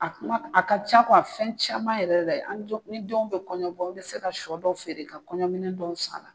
A kuma, a ka ca fɛn caman yɛrɛ la ni denw be kɔɲɔbɔ an be se ka sɔ dɔ feere ka kɔɲɔminɛ dɔw san a la.